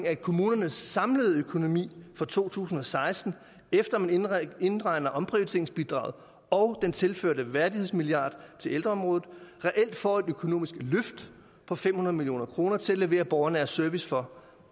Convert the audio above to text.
at kommunernes samlede økonomi for to tusind og seksten efter man indregner indregner omprioriteringsbidraget og den tilførte værdighedsmilliard til ældreområdet reelt får et økonomisk løft på fem hundrede million kroner til at levere borgernær service for